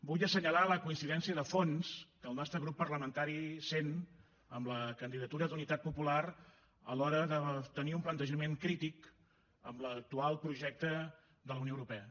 vull assenyalar la coincidència de fons que el nostre grup parlamentari sent amb la candidatura d’unitat popular a l’hora de tenir un plantejament crític amb l’actual projecte de la unió europea